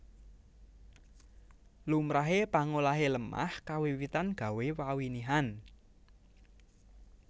Lumrahe pangolahe lemah kawiwitan gawé pawinihan